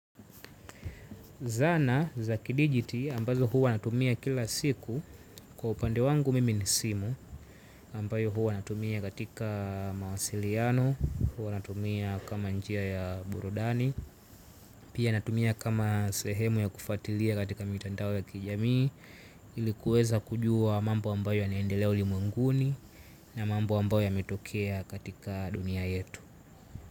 Zana za kidijiti ambazo huwa natumia kila siku kwa upande wangu mimi ni simu ambayo huwa natumia katika mawasiliano, huwa natumia kama njia ya burudani pia natumia kama sehemu ya kufuatilia katika mitandao ya kijamii ilikuweza kujua mambo ambayo yanaendelea ulimwenguni na mambo ambayo yametokea katika dunia yetu.